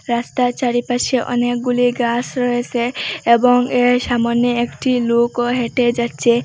রাস্তার চারিপাশে অনেকগুলি গাস রয়েসে এবং এর সামোনে একটি লোকও হেঁটে যাচ্ছে।